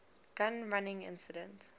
gun running incident